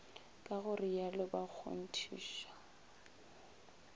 ka go rialo ba kgonthiša